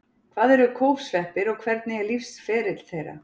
Hvað eru kólfsveppir og hvernig er lífsferill þeirra?